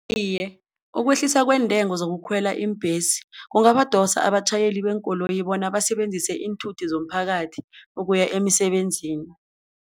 Iye, ukwehlisa kweentengo zokukhwela iimbhesi kungabadosa abatjhayeli beenkoloyi bona basebenzise iinthuthi zomphakathi ukuya emisebenzini.